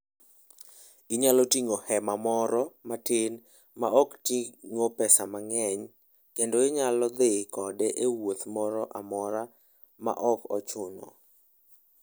Inyalo ting'o hema moro matin ma ok ting'o pesa mang'eny, kendo inyalo dhi kode e wuoth moro amora ma ok ochuno.